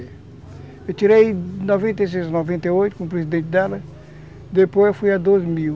Eu tirei noventa e seis, noventa e oito com o presidente dela, depois eu fui a mil mil.